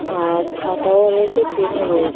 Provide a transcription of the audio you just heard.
আর খাতাও রয়েছে পেন ও রয়েছ--